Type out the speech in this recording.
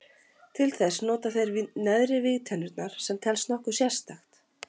Til þess nota þeir neðri vígtennurnar sem telst nokkuð sérstakt.